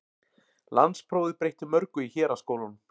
Landsprófið breytti mörgu í héraðsskólunum.